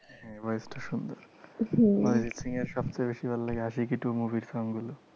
হ্যাঁ voice টা সুন্দর। হম অরিজিৎ সিং এর সবথেকে বেশি ভালো লাগে আশিকি two movie র song গুলো।